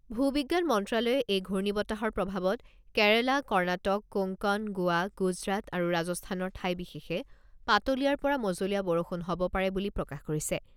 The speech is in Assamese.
ভূ বিজ্ঞান মন্ত্ৰ্যালয়ে এই ঘূৰ্ণী বতাহৰ প্ৰভাৱত কেৰালা, কৰ্ণাটক, কোংকন, গোৱা, গুজৰাট আৰু ৰাজস্থানৰ ঠাই বিশেষে পাতলীয়াৰ পৰা মজলীয়া বৰষুণ হ'ব পাৰে বুলি প্ৰকাশ কৰিছে।